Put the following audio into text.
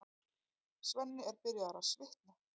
Svenni er byrjaður að svitna.